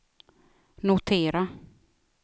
notera